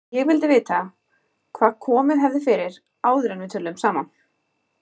Ég vildi vita, hvað komið hefði fyrir, áður en við töluðum saman.